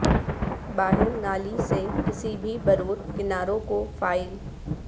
باہر نالی سے کسی بھی برور کناروں کو فائل